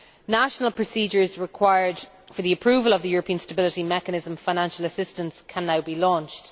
National procedures required for the approval of the European Stability Mechanism financial assistance can now be launched.